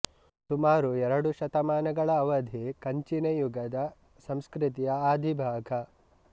ಸುಮಾರು ಎರಡೂವರೆ ಶತಮಾನಗಳ ಅವಧಿ ಕಂಚಿನ ಯುಗದ ಸಂಸ್ಕೃತಿಯ ಆದಿಭಾಗ